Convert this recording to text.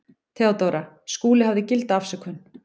THEODÓRA: Skúli hafði gilda afsökun.